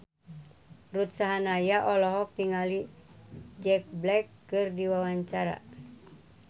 Ruth Sahanaya olohok ningali Jack Black keur diwawancara